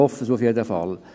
Das hoffen wir jedenfalls.